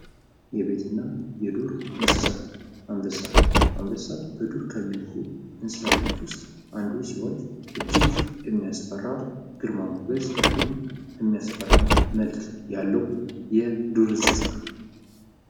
የቤትና የዱር እንስሳት አንበሳ አንበሳ በዱር ከሚኖሩ እንስሳቶች ውስጥ አንዱ ሲሆን ፤ እጅግ የሚያስፈራ ግርማ ሞገስ እንዲሁም የሚያስፈራ መልክ ያለው የዱር እንስሳ ነው።